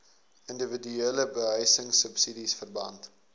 indiwiduele behuisingsubsidies verband